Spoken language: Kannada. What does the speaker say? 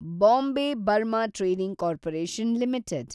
Bombay Burma trading corporation limited